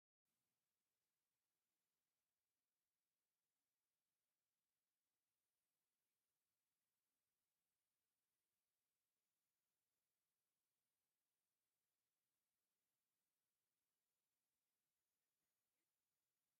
ተሽከርከርቲ ንደቂ ሰባትን ንኣቑሑትን ካብን ናብን ዘጓዓዕዙ እንትኾኑ ካብ ዓይነታት ተሽከርከርቲ ሓንቲ ዶዘር እያ፡፡ ውይውይ...እቲ ፅርግያ እንትተዕርይ ከላ ንኽልና ኣናቓኒቓትና...ከመይ ዝበለት ረዛን ድያ...